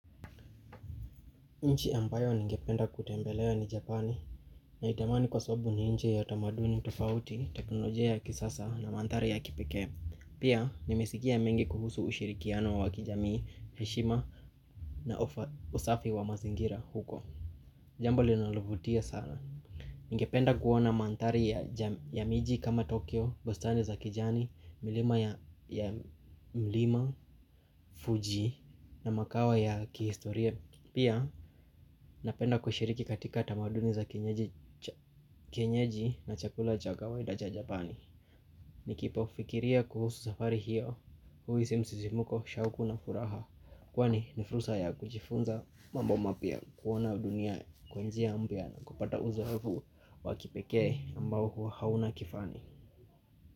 Nchi ambayo ningependa kutembelea ni Japani naitamani kwa sababu ni nchi ya tamaduni tufauti, teknolojia ya kisasa na manthari ya kipekee. Pia, nimesikia mengi kuhusu ushirikiano wa kijamii, heshima na usafi wa mazingira huko. Jambo linalovutia sana. Ningependa kuona manthari ya ja miji kama Tokyo, bustani za kijani, milima ya milima, Fuji na makao ya kihistoria. Pia napenda kushiriki katika tamaduni za kenyeji na chakula jagawa idaja japani Nikipo fikiria kuhusu safari hiyo huhisi msisimuko, shawuku na furaha Kwani nifursa ya kujifunza mambo mapya kuona dunia kwa njia yangu na kupata uzavu wakipeke mbao hua hauna kifani.